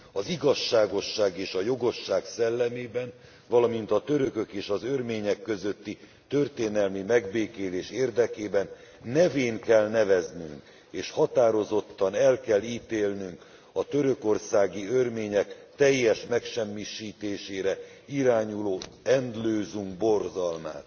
Az igazságosság és a jogosság szellemében, valamint a törökök és az örmények közötti történelmi megbékélés érdekében nevén kell neveznünk és határozottan el kell ítélnünk a törökországi örmények teljes megsemmisítésére irányuló Endlösung borzalmát.